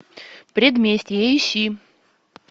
предместье ищи